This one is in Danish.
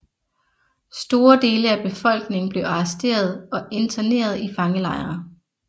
Store dele af befolkningen blev arresteret og interneret i fangelejre